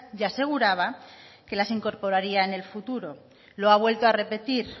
y aseguraba que las incorporaría en el futuro lo ha vuelto a repetir